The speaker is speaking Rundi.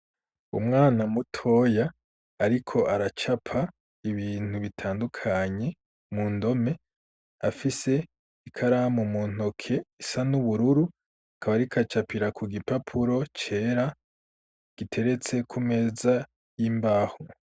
Umwana mutoya, ariko aracapa ibintu bitandukanye mu ndome afise ikaramu mu ntoke isa n'ubururu kabarikacapira ku gipapuro cera giteretse ku meza y'imbaho.